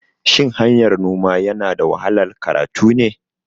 Shin hanyar noma yanada wahalar karatu ne?